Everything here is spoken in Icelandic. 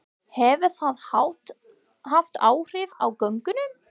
Hefur það haft áhrif á gönguna?